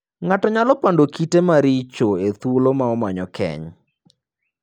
Ng'ato nyalo pando kite maricho e thuolo ma omanyo keny.